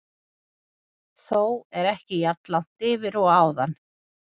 Þó ekki jafn langt yfir og áðan.